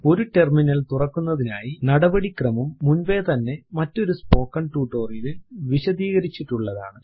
ഒരു ടെർമിനൽ തുറക്കുന്നതിനുള്ള നടപടിക്രമം മുൻപേതന്നെ മറ്റൊരു സ്പോക്കൻ ട്യൂട്ടോറിയൽ ലിൽ വിശദീകരിച്ചിട്ടുള്ളതാണ്